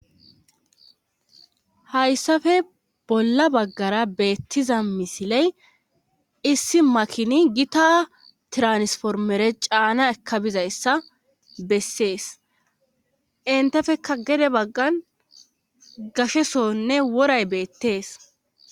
hayssafe bolla baggara beettiza misiley issi makini gita tiransformere caana eka bizayssa bessees intefeka gede baggan gashe sonne woray beettees